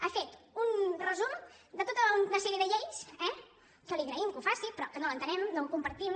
ha fet un resum de tota una sèrie de lleis eh que li agraïm que ho faci però que no l’entenem no ho compartim